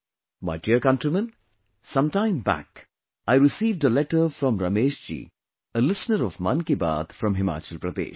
My dear countrymen, sometime back, I received a letter from Ramesh ji, a listener of 'Mann Ki Baat' from Himachal Pradesh